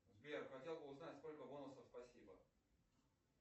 сбер хотел бы узнать сколько бонусов спасибо